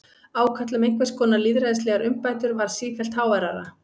Ákall um einhvers konar lýðræðislegar umbætur varð sífellt háværara.